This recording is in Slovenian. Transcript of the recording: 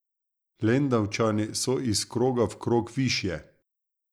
Lendavčani so iz kroga v krog višje.